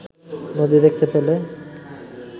নদী দেখতে পেলে